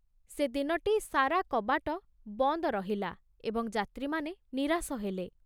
ସେ ଦିନଟି ସାରା କବାଟ ବନ୍ଦ ରହିଲା ଏବଂ ଯାତ୍ରୀମାନେ ନିରାଶ ହେଲେ।